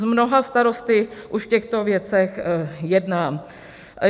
S mnoha starosty už v těchto věcech jednám.